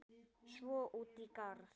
Svo út í garð.